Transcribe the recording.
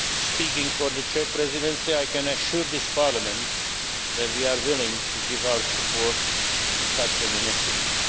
Speaking for the Czech Presidency, I can assure this Parliament that we are willing to give our support to such an initiative.